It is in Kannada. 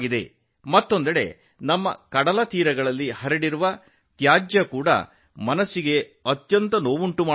ಮತ್ತೊಂದೆಡೆ ನಮ್ಮ ಕಡಲತೀರಗಳಲ್ಲಿ ಹರಡಿರುವ ಕಸವು ಆತಂಕವನ್ನುಂಟುಮಾಡುತ್ತದೆ